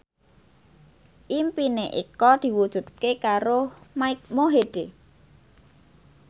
impine Eko diwujudke karo Mike Mohede